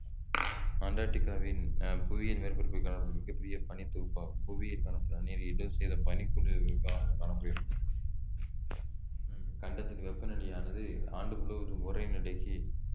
அண்டாட்டிகாவின் ஆஹ் புவியின் மேற்பரப்பில் காணப்படும் மிகப் பெரிய பனித் தொகுப்பாகும் புவியில் காணப்படும் நன்னீரில் எழுபது சதவீதம் காணப்படுகிறது இக்கண்டத்தின் வெப்பநிலையானது ஆண்டு முழுவதும் உறை நிலைக்கு